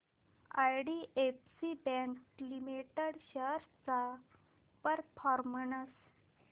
IDFC bank limited shares चा performance